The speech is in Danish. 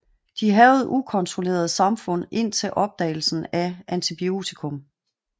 De hærgede ukontrolleret samfund indtil opdagelsen af antibiotikum